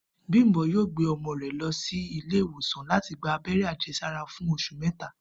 Bímpé yóò gbé o̩mo̩ rè̩ lo̩ sí ilé ìwòsàn láti gba abé̩ré̩ àje̩sára fún os̩ù méta